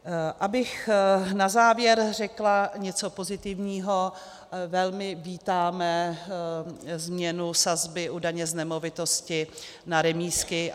Abych na závěr řekla něco pozitivního: Velmi vítáme změnu sazby u daně z nemovitosti na remízky.